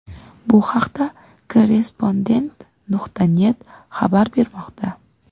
Bu haqda Korrrespondent.net xabar bermoqda .